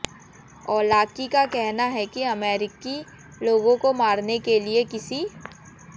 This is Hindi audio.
औलाकी का कहना है कि अमेरिकी लोगों को मारने के लिए किसी